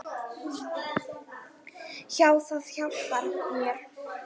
Já, það hjálpar mér.